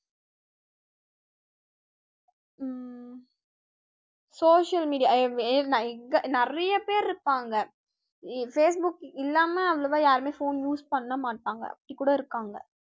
social media இங்க நிறைய பேர் இருப்பாங்க facebook இல்லாம அவ்வளவா யாருமே phone use பண்ண மாட்டாங்க அப்படி கூட இருக்காங்க